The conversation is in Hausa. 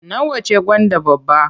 Nawa ce gwanda babba?